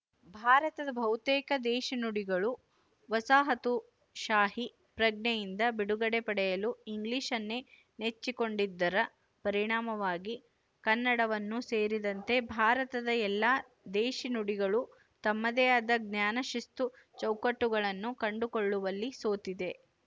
ಭಾರತದ ಬಹುತೇಕ ದೇಶಿ ನುಡಿಗಳು ವಸಾಹತುಶಾಹಿ ಪ್ರಜ್ಞೆಯಿಂದ ಬಿಡುಗಡೆ ಪಡೆಯಲು ಇಂಗ್ಲಿಶನ್ನೇ ನೆಚ್ಚಿಕೊಂಡಿದ್ದರ ಪರಿಣಾಮವಾಗಿ ಕನ್ನಡವನ್ನು ಸೇರಿದಂತೆ ಭಾರತದ ಎಲ್ಲ ದೇಶಿ ನುಡಿಗಳು ತಮ್ಮದೇ ಆದ ಜ್ಞಾನಶಿಸ್ತು ಚೌಕಟ್ಟುಗಳನ್ನು ಕಂಡುಕೊಳ್ಳುವಲ್ಲಿ ಸೋತಿದೆ